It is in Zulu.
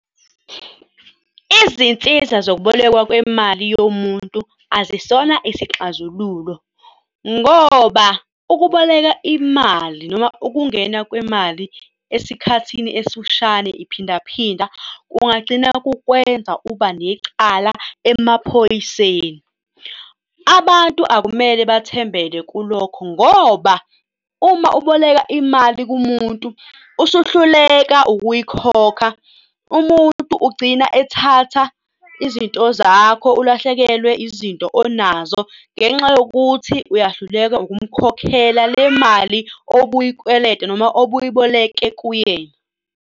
Izinsiza zokubolekwa kwemali yomuntu azisona isixazululo ngoba ukuboleka imali noma ukungena kwemali esikhathini esifushane iphinda phinda kungagcina kukwenza uba necala emaphoyiseni. Abantu akumele bathembele kulokho ngoba uma uboleka imali kumuntu usuhluleka ukuyikhokha, umuntu ugcina ethatha izinto zakho, ulahlekelwe izinto onazo ngenxa yokuthi uyahluleka ukumkhokhela le mali obuyikweleda noma obuyiboleke kuyena.